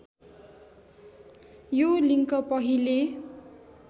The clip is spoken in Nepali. यो लिङ्क पहिले